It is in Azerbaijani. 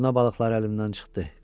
Durna balıqları əlindən çıxdı.